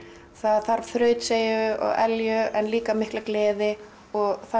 það þarf þrautseigju og elju en líka mikla gleði og